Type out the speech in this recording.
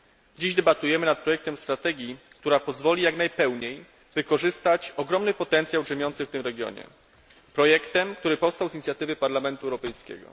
Dziś debatujemy nad projektem strategii, która pozwoli jak najpełniej wykorzystać ogromny potencjał drzemiący w tym regionie, projektem, który powstał z inicjatywy Parlamentu Europejskiego.